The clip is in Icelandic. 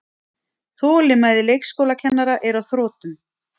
Þolinmæði leikskólakennara er á þrotum